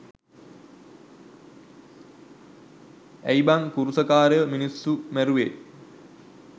ඇයි බන් කුරුස කාරයෝ මිනිස්සු මැරුවේ